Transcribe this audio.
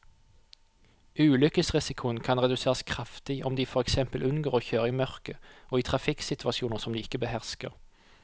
Ulykkesrisikoen kan reduseres kraftig om de for eksempel unngår å kjøre i mørket og i trafikksituasjoner som de ikke behersker.